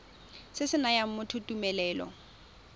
se se nayang motho tumelelo